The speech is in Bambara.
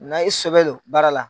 Na i sɛbɛ don baara la.